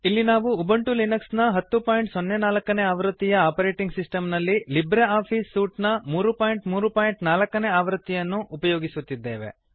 ಇಲ್ಲಿ ನಾವು Ubuntu Linux ನ 1004 ನೇ ಆವೃತ್ತಿಯ ಆಪರೇಟಿಂಗ್ ಸಿಸ್ಟಮ್ ನಲ್ಲಿ ಲಿಬ್ರೆ ಆಫೀಸ್ ಸೂಟ್ ನ 334 ನೇ ಆವೃತ್ತಿಯನ್ನು ಉಪಯೋಗಿಸುತ್ತಿದ್ದೇವೆ